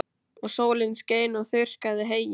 Og sólin skein og þurrkaði heyið.